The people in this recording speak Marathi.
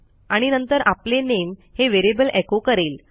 आणि नंतर आपले नामे हे व्हेरिएबल एको करेल